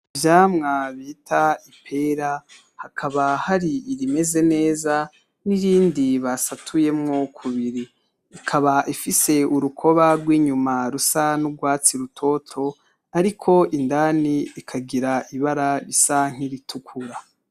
Ivyamwa bita ipera hakaba hari irimeze neza n'irindi basatuyemwo k'ubiri, Ikaba ifise urukoba rw'inyuma rusa n'urwatsi rutoto ariko indani rikagira ibara risa nk'iritukura